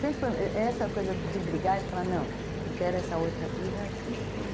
Sempre foi essa coisa de brigar, de falar, não, eu quero essa outra vida, sempre foi...